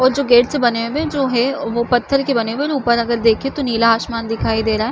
और जो गेटस बने हुए है जो है वो पत्थर के बने हुए है ऊपर अगर देख तो नीला आसमान दिखाई दे रहा है।